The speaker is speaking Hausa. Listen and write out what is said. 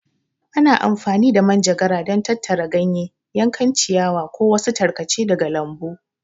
Ana amfani da manjagara don tattara ganye, yankan ciyawa, ko wasu tarkace daga lambu.